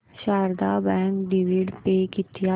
Sharda bank dividend pay किती आहे